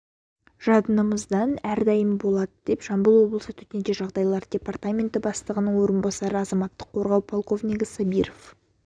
жадынымызда әрдайым болады деп жамбыл облысы төтенше жағдайлар департаменті бастығының орынбасары азаматтық қорғау полковнигі сабиров